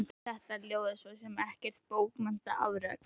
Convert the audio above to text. Þetta ljóð er svo sem ekkert bókmenntaafrek.